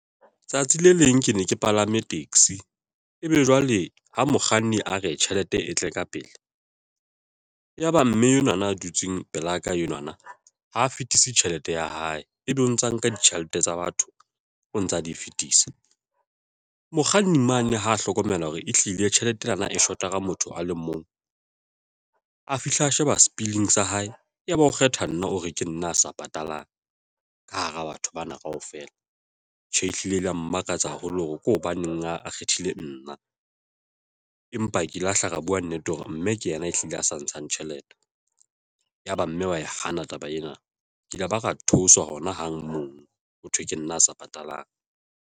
Tsatsi le leng ke ne ke palame taxi ebe jwale ha mokganni a re tjhelete e tle ka pele ya ba mme enwana a dutseng pelaka enwana, ha fetise tjhelete ya hae, ebe o ntsa nka ditjhelete tsa batho o ntsa di fetisa mokganni mane ha hlokomela hore ehlile tjhelete ena e short-a ka motho a le mong a fihla a sheba spilling sa hae. Ya ba o kgetha nna o re ke nna a sa patalang ka hara batho bana kaofela. Tjhe, ehlile le ya mmakatsa haholo hore ke hobaneng a kgethile nna, empa ke lahla re bua nnete hore mme ke yena e hlile a sa ntshang tjhelete, yaba mme wa e hana taba ena, ke ile ba ra theoswa hona hang mono, ho thwe ke nna a sa patalang.